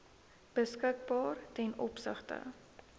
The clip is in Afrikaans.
beskikbaar ten opsigte